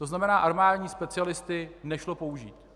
To znamená, armádní specialisty nešlo použít.